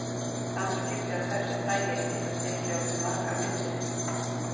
Samskipti af þessu tagi geta tekið á sig margar myndir.